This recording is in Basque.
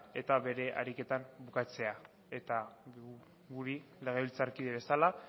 eta bere ariketak bukatzea eta guri legebiltzarkide bezala